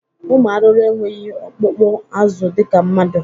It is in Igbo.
Ụmụ arụrụ enweghi ọkpụkpụ azụ dịka mmadụ.